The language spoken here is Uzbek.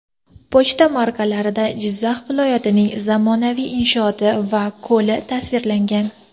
Pochta markalarida Jizzax viloyatining zamonaviy inshooti va ko‘li tasvirlangan.